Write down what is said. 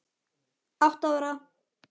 Átta ára